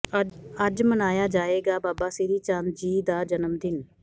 ਅੱਜ ਮਨਾਇਆ ਜਾਏਗਾ ਬਾਬਾ ਸ੍ਰੀ ਚੰਦ ਜੀ ਦਾ ਜਨਮ ਦਿਨ